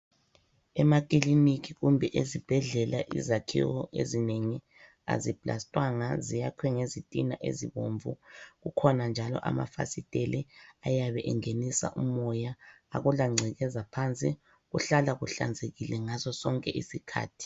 Emaclinic kumbe ezibhedlela izakhiwo ezinengi aziplastwanga ziyakhwe ngezitina ezibomvu .Kukhona njalo amafasitele ayabe engenisa umoya , akulangcekeza phansi kuhlala kuhlanzekile ngaso sonke isikhathi.